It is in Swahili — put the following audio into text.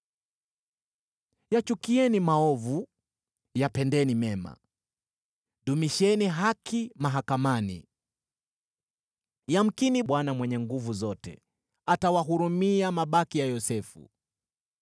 Yachukieni maovu, yapendeni mema; dumisheni haki mahakamani. Yamkini Bwana Mungu Mwenye Nguvu Zote atawahurumia mabaki ya Yosefu.